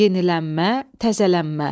Yenilənmə, təzələnmə.